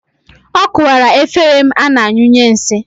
Ọ kụwara efere m ana anyụnye nsị